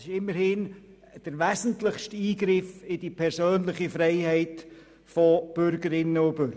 Es handelt sich immerhin um den wesentlichsten Eingriff in die persönliche Freiheit von Bürgerinnen und Bürgern.